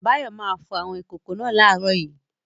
Báyọ̀ máa fọ àwọn ìkòkò wa láàárọ̀ yìí.